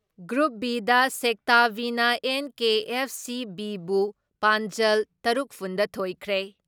Group B ꯗ sector B ꯅ NKFC. B ꯕꯨ ꯄꯥꯟꯖꯜ ꯇꯔꯨꯛꯐꯨꯟ ꯗ ꯊꯣꯏꯈ꯭ꯔꯦ ꯫